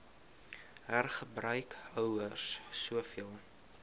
hergebruik houers soveel